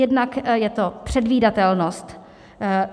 Jednak je to předvídatelnost.